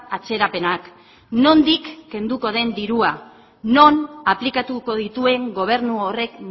atzerapenak nondik kenduko den dirua non aplikatuko dituen gobernu horrek